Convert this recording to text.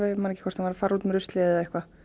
ég man ekki hvort hún var að fara út með ruslið eða eitthvað